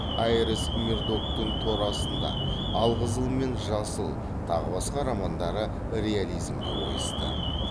айрис мердоктың тор астында алқызыл мен жасыл тағы басқа романдары реализмге ойысты